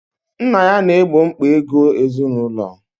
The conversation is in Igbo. Nna ya na-egbo mkpa ego ezinụlọ.